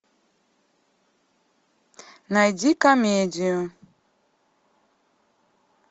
найди комедию